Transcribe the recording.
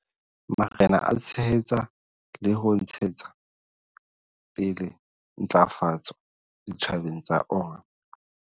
Marena a tshehetsa le hona ho ntshetsa pele ntlafatso ditjhabeng tsa ona.